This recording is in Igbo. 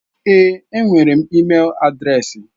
Èé, enwere m ịmel adreesị.